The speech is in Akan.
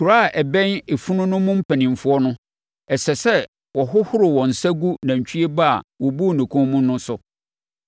Kuro a ɛbɛn efunu no mu mpanimfoɔ no, ɛsɛ sɛ wɔhohoro wɔn nsa gu nantwie ba a wɔbuu ne kɔn mu no so.